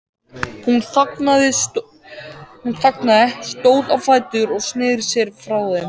Hún þagnaði, stóð á fætur og sneri sér frá þeim.